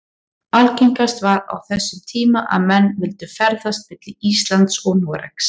Algengast var á þessum tíma að menn vildu ferðast milli Íslands og Noregs.